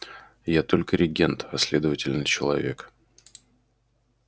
я только регент а следовательно человек